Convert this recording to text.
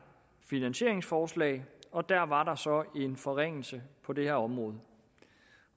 finansieringsforslag og der var der så en forringelse på det her område